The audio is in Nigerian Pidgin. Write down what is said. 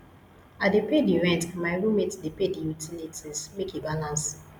i dey pay di rent and my roommate dey pay di utilities make e balance